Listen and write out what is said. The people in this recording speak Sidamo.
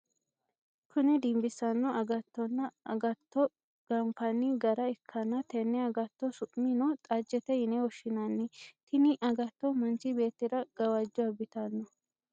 Kunni dinbisano agatonna agatto ganfanni gara ikanna tenne agatto su'mi no xajete yinne woshinnanni tinni agatto manchi beetira gawajo abitano.